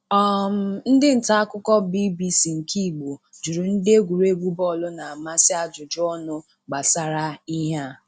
um Ndị nta akụkọ BBC nke Igbo jụrụ ndị egwuregwu bọọlụ na-amasị ajụjụ ọnụ gbasara ihe a.